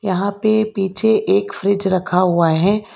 यहां पे पीछे एक फ्रिज रखा हुआ है।